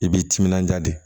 I b'i timinanja de